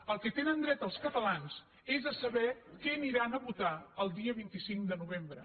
al que tenen dret els catalans és a saber què aniran a votar el dia vint cinc de novembre